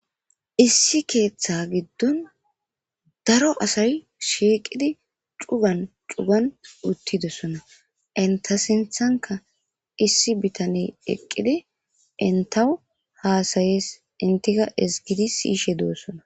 Issi keeththa giddon daro asay shiiqidi cugan cugan uttidossona inta sinthanka issi bitane eqqidi inta haasayees intika esgidi siyishe doossona.